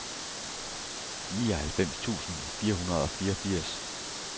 nioghalvfems tusind fire hundrede og fireogfirs